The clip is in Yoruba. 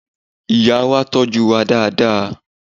Ìyá wa tọ́jú wa dáadáa.